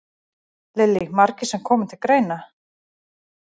Lillý: Margir sem koma til greina?